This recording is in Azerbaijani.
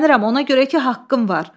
Hirslənirəm ona görə ki, haqqım var.